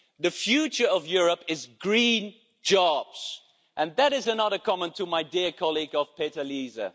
The future of Europe is green jobs and that is another comment to my dear colleague Peter Liese.